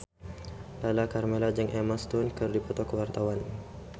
Lala Karmela jeung Emma Stone keur dipoto ku wartawan